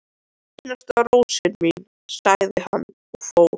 Einasta rósin mín, sagði hann og fór.